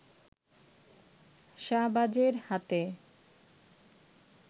শাহবাজের হাতে